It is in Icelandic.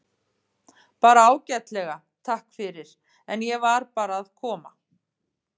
Bara ágætlega, takk fyrir, en ég var bara að koma.